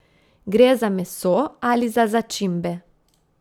Gre za meso ali za začimbe?